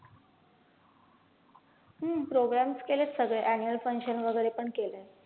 हम्म programs केलेत सगळे annual function वैगरे पण केलेत.